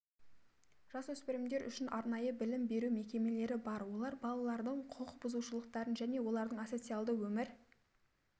жасөспірімдер үшін арнайы білім беру мекемелері бар олар балалардың құқық бұзушылықтарының және олардың асоциальды өмір